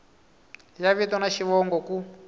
ya vito na xivongo ku